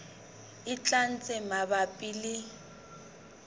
e tlang tse mabapi le